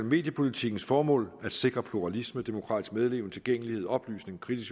mediepolitikkens formål at sikre pluralisme demokratisk medleven tilgængelighed oplysning kritisk